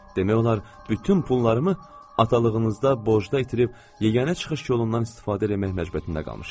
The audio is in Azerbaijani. Demək olar bütün pullarımı atalığınızda borcda itirib, yeganə çıxış yolundan istifadə eləmək məcburiyyətində qalmışam.